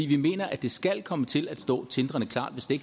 vi mener at det skal komme til at stå til tindrende klart hvis det